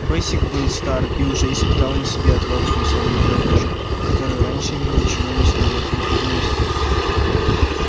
бэсик был стар и уже испытал на себе отвагу той самой молодёжи которую раньше ему ничего не стоило припугнуть